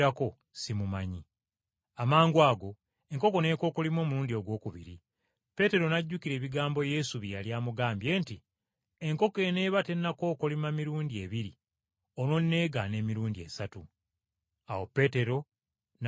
Amangwago enkoko n’ekookolima omulundi ogwokubiri, Peetero n’ajjukira ebigambo Yesu bye yali amugambye nti, “Enkoko eneeba tennakookolima mirundi ebiri, onoonneegaana emirundi esatu.” Awo Peetero n’atulika n’akaaba amaziga.